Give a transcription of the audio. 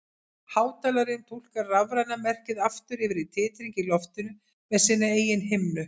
Hátalarinn túlkar rafræna merkið aftur yfir í titring í loftinu með sinni eigin himnu.